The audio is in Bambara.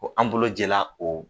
Ko an bolo jɛla o